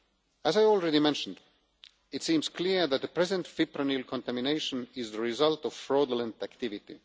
As I already mentioned, it seems clear that the present fipronil contamination is the result of fraudulent activity.